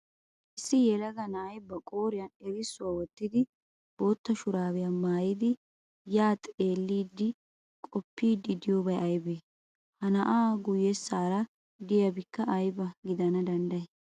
Issi yelaga na'ay ba qooriyan erissuwa wottidi bootta shuraabiya mayydi ya xeelliiddinne qoppiiddi diyoobay ayibee? Ha na'aa guyyessan diyaabikka ayiba gidana danddayii?